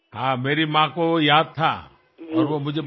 হ্যাঁ আমার মার সে সব ঘটনা মনে ছিল এবং আমাকেও উনি বলেছিলেন